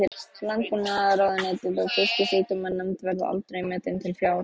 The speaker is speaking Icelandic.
Landbúnaðarráðuneytið og Fisksjúkdómanefnd, verða aldrei metin til fjár.